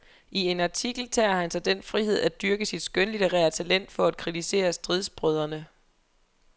I en artikel tager han sig den frihed at dyrke sit skønlitterære talent for at kritisere stridsbrødrene.